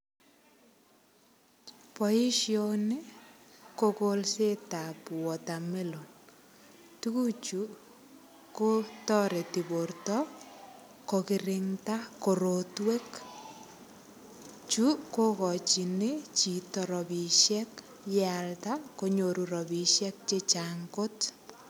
Boishoni ko kolset ap watermelon tukuchu kotoreti borto kokiringta korotwek chu kokochin chito ropishek yealda konyoru ropisiek che chang kot.